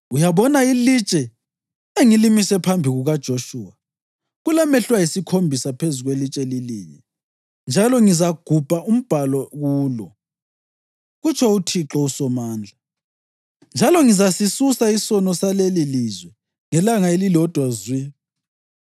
Uyabona, ilitshe engilimise phambi kukaJoshuwa! Kulamehlo ayisikhombisa phezu kwelitshe lilinye, njalo ngizagubha umbhalo kulo,’ kutsho uThixo uSomandla, ‘njalo ngizasisusa isono salelilizwe ngelanga elilodwa zwi.